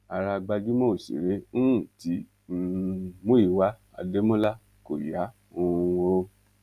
ara gbajúmọ òṣèré ńǹtí um múìíwá adémọlá kò yá um o